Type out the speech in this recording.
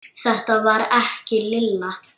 Þetta var ekki Lilla.